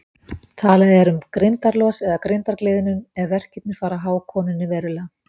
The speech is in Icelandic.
Talað er um grindarlos eða grindargliðnun ef verkirnir fara að há konunni verulega.